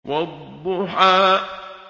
وَالضُّحَىٰ